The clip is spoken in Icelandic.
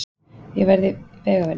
Ég verð í vegavinnu.